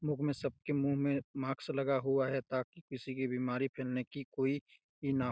लोग में सबके मुँह में मास्क लगा हुआ है ताकि किसी की बीमारी फैलने की कोई न--